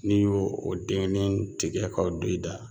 N'i y'o o dennen tigɛ k'o don i da